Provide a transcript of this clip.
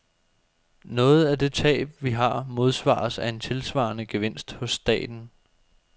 Noget af det tab, vi har, modsvares af en tilsvarende gevinst hos staten.